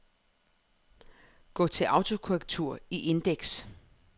Gå til autokorrektur i indeks.